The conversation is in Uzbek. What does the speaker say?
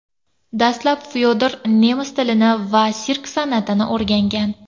Dastlab Fyodor nemis tilini va sirk san’atini o‘rgangan.